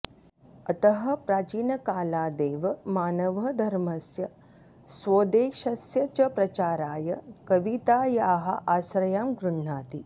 अतः प्राचीनकालादेव मानवः धर्मस्य स्वोद्देश्यस्य च प्रचाराय कवितायाः आश्रयं गृह्णाति